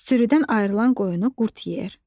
Sürüdən ayrılan qoyunu qurd yeyər.